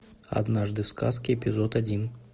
однажды в сказке эпизод один